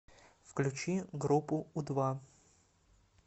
включи группу у два